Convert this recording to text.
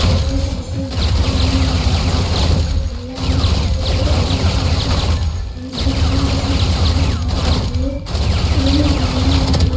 यहाँ पर एक अंकल खड़े दिख रहे हैं जिनके हाथ में रेड कलर का झूला है और लेफ्ट साइड में खेत दिखाई पड़ रहे हैं जिसमें छोटी-छोटी घास लगी है और पेड़ भी लगे हैं।